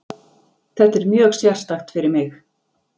Þetta er mjög sérstakt fyrir mig.